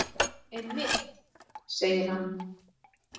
Einmitt, segir hann.